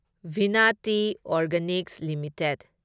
Vinati Organics limited